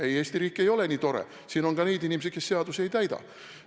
Ei, Eesti riik ei ole nii tore, siin on ka inimesi, kes seadusi ei täida.